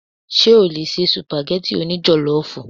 Ṣé o lè se Sùpàgẹ́tì o ní jọ̀lọ́fù?